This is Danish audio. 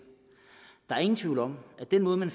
er ingen tvivl om at den måde man